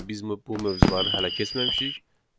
Çünki biz bu mövzuları hələ keçməmişik.